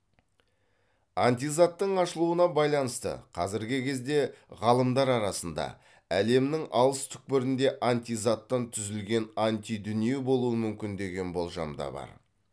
антизаттың ашылуына байланысты қазіргі кезде ғалымдар арасында әлемнің алыс түкпірінде антизаттан түзілген антидүние болуы мүмкін деген болжам да бар